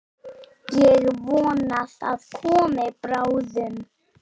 Ég vona það komi bráðum.